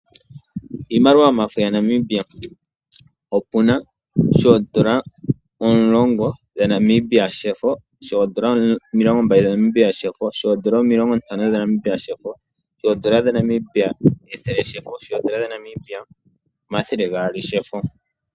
Iimaliwa yomafo gaNamibia opuna efo lyoondola ethele ndyoka lyathanekwa nakusa omuleli nale tatekulu Sam Nuuyoma, opuna woo efo lyoondola omilongombali, omilongontano, ethele noshowoo omathele gaali.